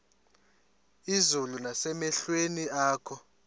izulu nasemehlweni akho